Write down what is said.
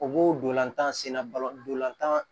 O b'o dolantan sen na balɔntan